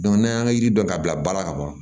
n'an y'an ji dɔn ka bila baara kaban